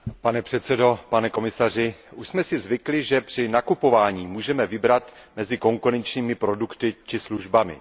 Pane předsedající, pane komisaři, už jsme si zvykli, že při nakupování můžeme vybrat mezi konkurenčními produkty či službami.